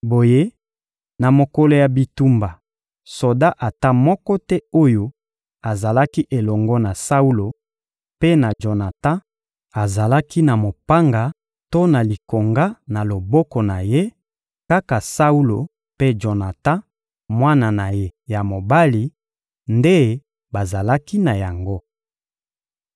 Boye, na mokolo ya bitumba, soda ata moko te oyo azalaki elongo na Saulo mpe na Jonatan azalaki na mopanga to na likonga na loboko na ye; kaka Saulo mpe Jonatan, mwana na ye ya mobali, nde bazalaki na yango.